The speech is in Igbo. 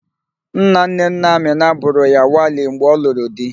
Nnanne nna Amịna bụrụ ya wali mgbe ọ lụrụ di.